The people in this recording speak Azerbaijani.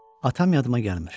Atam yadıma gəlmir.